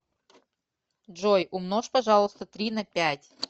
джой умножь пожалуйста три на пять